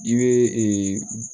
I bɛ